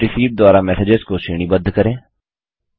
date received द्वारा messages को श्रेणीबद्ध करें